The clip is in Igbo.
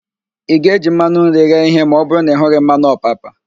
Ị ga-eji mmanụ nri ghee ihe ma ọbụrụ na ị hughị mmanụ ọpapa?